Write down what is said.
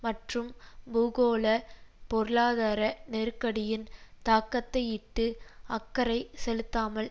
மற்றும் பூகோள பொருளாதார நெருக்கடியின் தாக்கத்தையிட்டு அக்கறை செலுத்தாமல்